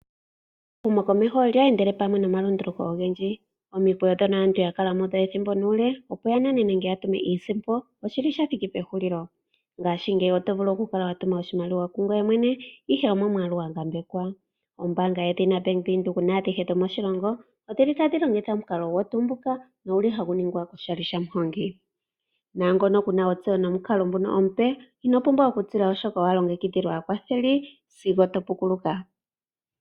Ehumokomeho olya endela pamwe nomalunduluko ogendji. Omikweyo ndhono aantu ya kala mudho ethimbo nuule, opo ya nane nenge ya tume iisimpo, osho sha thiki pehulilo. Ngaashingeyi oto vulu okutuma oshimaliwa kungoye mwene, ihe omomwaalu gwa ngambekwa. Ombaanga yedhina Bank Windhoek naadhihe dhomoshilongo otadhi longitha omukalo nguka nohagu ningwa oshali shaMuhongi. Naangono ku na ontseyo nomukalo nguka omupe inoo pumbwa okutila, oshoka owa longekidhilwa aakwatheli sigo to pukuluka.